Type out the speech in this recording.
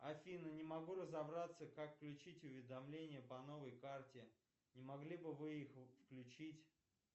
афина не могу разобраться как включить уведомления по новой карте не могли бы вы их включить